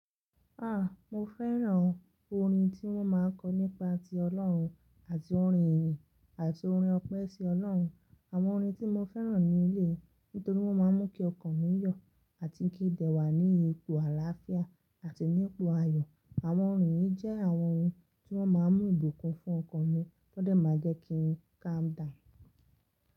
Ah! Mo fẹ́ràn orin tí wọ́n máa ń kọ nípa ti Ọlọ́hun, àti orin ìrìn, àti orin Ọpẹ si Ọlọ́hun. Àwọn orin tí mo fẹ́ràn ní eléyìí nítorí wọ́n máa ń mú kí ọkàn mi yọ̀, àti kí n dẹ̀ wá ní ipò àlàáfíà àti ní ipò ayọ̀. Àwọn orin yìí jẹ́ àwọn ohun tí wọ́n máa ń mú ìbùkún fún ọkàn mi tó dẹ̀ máa jẹ́ kí n calm down.